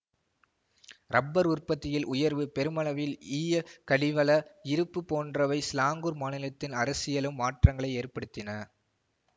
rubber உற்பத்தியில் உயர்வு பெருமளவில் ஈய கனிவள இருப்பு போன்றவை சிலாங்கூர் மாநிலத்தின் அரசியலிலும் மாற்றங்களை ஏற்படுத்தின